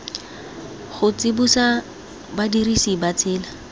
go tsibosa badirisi ba tsela